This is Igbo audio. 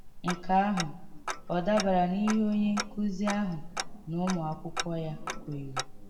Nke ahụ ọ̀ dàbàrà n’íhè onye nkụ́zi ahụ na ụmụ̀ ákwụ́kwọ́ ya kwèèrè?